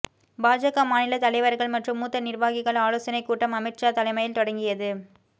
பாஜக மாநில தலைவர்கள் மற்றும் மூத்த நிர்வாகிகள் ஆலோசனை கூட்டம் அமித்ஷா தலைமையில் தொடங்கியது